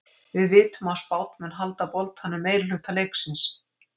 Við vitum að Spánn mun halda boltanum meirihluta leiksins.